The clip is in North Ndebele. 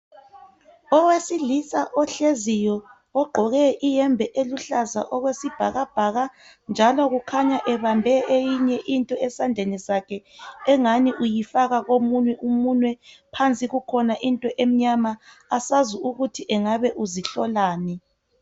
Owesilisa ohleziyo ogqoke iyembe eluhlaza okwesibhakabhaka njalo kukhanya ebambe eyinye into esandleni sakhe engani uyifaka komunye umunwe phansi kukhona into emnyama asazi ukuthi engabe uzihlolani.